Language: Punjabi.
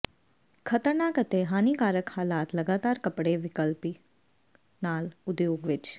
ਖਤਰਨਾਕ ਅਤੇ ਹਾਨੀਕਾਰਕ ਹਾਲਾਤ ਲਗਾਤਾਰ ਕੱਪੜੇ ਵਿਕਲਪਿਕ ਨਾਲ ਉਦਯੋਗ ਵਿੱਚ